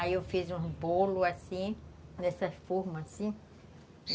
Aí eu fiz um bolo assim, dessa forma assim.